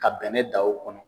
Ka bɛnɛ da o kɔnɔ.